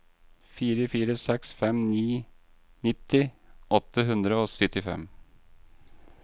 fire fire seks fem nitti åtte hundre og syttifem